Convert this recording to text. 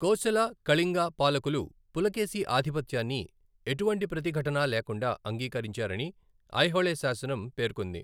కోశల, కళింగ పాలకులు పులకేశి ఆధిపత్యాన్ని ఎటువంటి ప్రతిఘటన లేకుండా అంగీకరించారని ఐహోళే శాసనం పేర్కొంది.